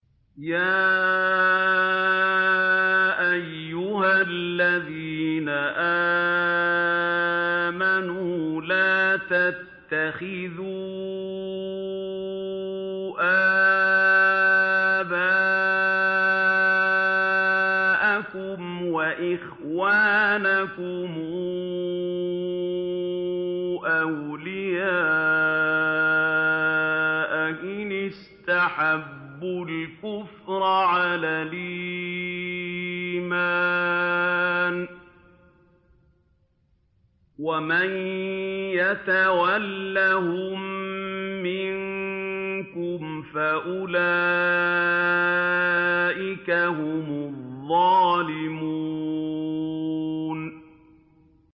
يَا أَيُّهَا الَّذِينَ آمَنُوا لَا تَتَّخِذُوا آبَاءَكُمْ وَإِخْوَانَكُمْ أَوْلِيَاءَ إِنِ اسْتَحَبُّوا الْكُفْرَ عَلَى الْإِيمَانِ ۚ وَمَن يَتَوَلَّهُم مِّنكُمْ فَأُولَٰئِكَ هُمُ الظَّالِمُونَ